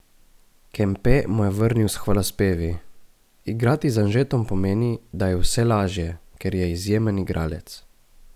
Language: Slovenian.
Kempe mu je vrnil s hvalospevi: "Igrati z Anžetom pomeni, da je vse lažje, ker je izjemen igralec.